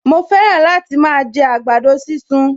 Mo fẹ́ràn láti máa jẹ àgbàdo sísun